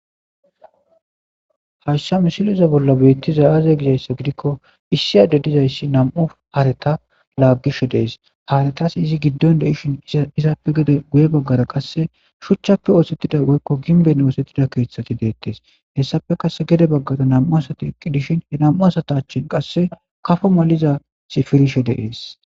Hashsha misiliza bolla beettiza aze gizayssa gidikko issi ade dizayssi nam'u hareta laaggishe dees haaretas izi giddon de ishin izaappe gede guye baggara qasse shuchchappe oosettida goykko ginben oosettida keeththati deettes hessafe qass gede baggara nam'u asati iqqi dishin he nam'u asatachin qasse kafo maliza sifirishe deees.